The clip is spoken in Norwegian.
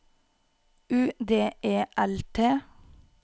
U D E L T